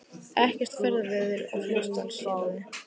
Ekkert ferðaveður á Fljótsdalshéraði